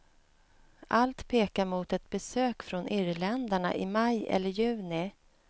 Allt pekar mot ett besök från irländarna i maj eller juni.